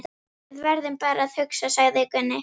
Við verðum bara að hugsa, sagði Gunni.